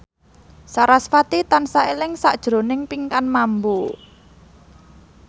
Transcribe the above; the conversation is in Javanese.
sarasvati tansah eling sakjroning Pinkan Mambo